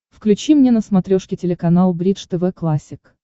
включи мне на смотрешке телеканал бридж тв классик